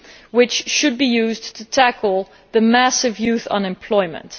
which should be used to tackle the massive youth unemployment.